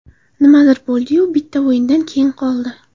Nimadir bo‘ldi-yu, bitta o‘yindan keyin qoldi.